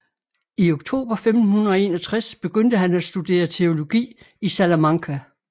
I oktober 1561 begyndte han at studere teologi i Salamanca